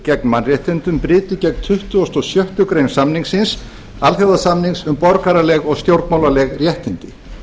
gegn mannréttindum brytu gegn tuttugasta og sjöttu grein samningsins alþjóðasamnings um borgaraleg og stjórnmálaleg réttindi